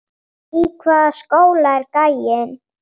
Í hvaða skóla er gæinn?